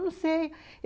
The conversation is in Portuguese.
Não sei.